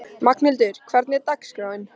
Magnhildur, hvernig er dagskráin?